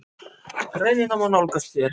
Greinina má nálgast hér